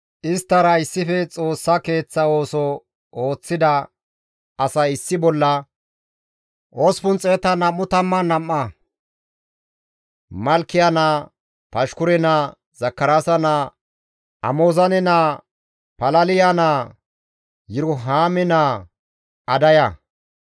Isttara issife Xoossa Keeththa ooso ooththida asay issi bolla 822; Malkiya naa, Pashkure naa, Zakaraasa naa, Amozaane naa, Palaliya naa, Yirohaame naa Adaya,